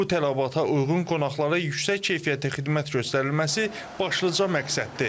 Bu tələbata uyğun qonaqlara yüksək keyfiyyətli xidmət göstərilməsi başlıca məqsəddir.